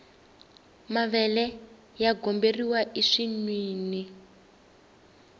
mavele ya goberiwa ensinwini